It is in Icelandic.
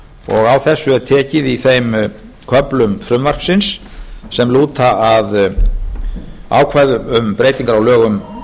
sínu þess er tekið í þeim köflum frumvarpsins sem lúta að ákvæðum um breytingar á lögum